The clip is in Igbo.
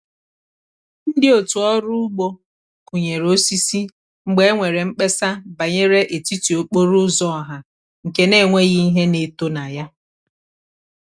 ndi otu ọrụ ugbo kunyere osisi mgbe e nwere mkpesa banyere etiti okporo ụzọ ọha nke n'enweghị ihe na-eto na ya.